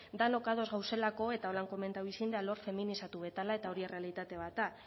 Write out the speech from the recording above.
denok ados gaudelako eta horrela komentatu egin da alor feminizatu bat dela eta hori errealitate bat da